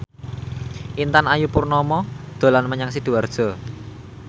Intan Ayu Purnama dolan menyang Sidoarjo